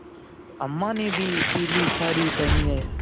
अम्मा ने भी पीली सारी पेहनी है